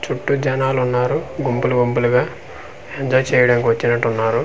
చుట్టు జనాలు ఉన్నారు గుంపులు గుంపులుగ ఎంజాయ్ చేయడానికి వచినట్టు ఉన్నారు.